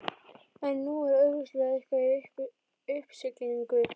En nú var augljóslega eitthvað í uppsiglingu.